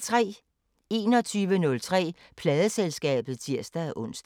21:03: Pladeselskabet (tir-ons)